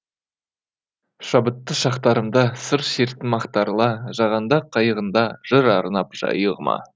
шабыттты шақтарымда сыр шерттім ақтарыла жағаңда қайығыңда жыр арнап жайығыма